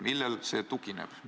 Millele see tugineb?